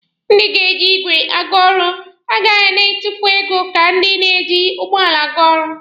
Ndị ga na-eji igwe aga ọrụ agaghị na-etufu ego ka ndị na-eji ụgbọala aga ọrụ.